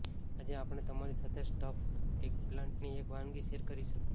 આજે આપણે તમારી સાથે સ્ટફ્ડ એગપ્લાન્ટની એક વાનગી શેર કરીશું